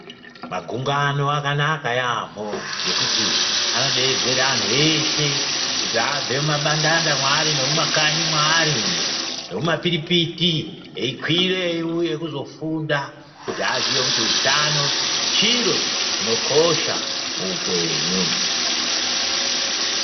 Magungano akanaka yaamho ngekuti anodeedzere antu eshe kuti abve mumabandanda mwaari nemumakanyi mweari umo, eikwire eiuye kuzofunda kuti aziye kuti utano chiro chinokosha muupenyu.